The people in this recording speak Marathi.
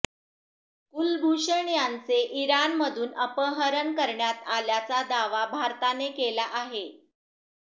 कुलभूषण यांचे इराणमधून अपहरण करण्यात आल्याचा दावा भारताने केला आहे